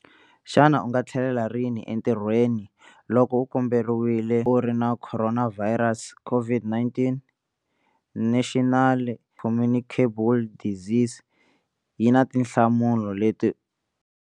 Xana u nga tlhelela rini entirhweni loko u kamberiwile u ri na khoronavhayirasi, COVID-19? National Communicable Diseases yi na tinhlamulo leti.